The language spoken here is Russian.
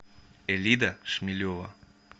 элида шмелева